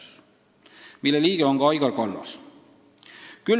Selle juhatuse liige on ka Aigar Kallas.